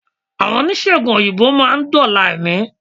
Àwọn oníṣègùn òyìnbó má a ndóòlà èmí